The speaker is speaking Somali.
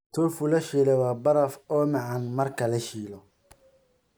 Tofu la shiilay waa baraf oo macaan marka la shiilo.